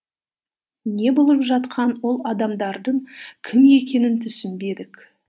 не болып жатқанын ол адамдардың кім екенін түсінбедік